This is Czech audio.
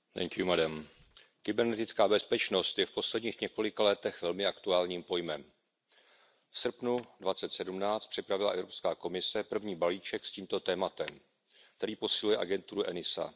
Paní předsedající, kybernetická bezpečnost je v posledních několika letech velmi aktuálním pojmem. V srpnu 2017 připravila Evropská komise první balíček s tímto tématem, který posiluje agenturu ENISA.